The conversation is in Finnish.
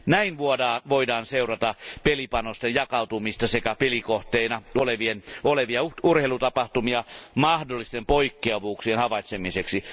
Näin voidaan seurata pelipanosten jakautumista sekä pelikohteina olevia urheilutapahtumia mahdollisten poikkeavuuksien havaitsemiseksi.